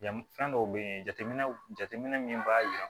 Yan fɛn dɔw bɛ yen jateminɛ jateminɛ min b'a jira